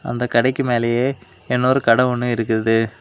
இந்த கடைக்கு மேலேயே இன்னொரு கட ஒன்னு இருக்கு.